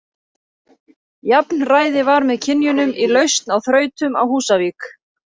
Jafnræði var með kynjunum í lausn á þrautum á Húsavík.